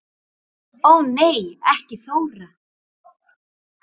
Ó nei ekki Þóra